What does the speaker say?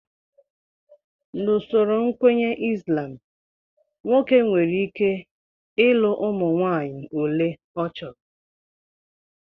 N'usoro nkwenye Islam, nwoke nwereike ọlị ụmụ nwaanyị ole ọ chọrọ